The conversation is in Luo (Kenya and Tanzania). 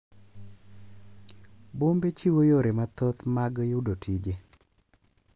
Bombe chiwo yore mathoth mag yudo tije,